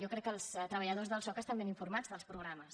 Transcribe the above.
jo crec que els treballadors del soc estan ben informats dels programes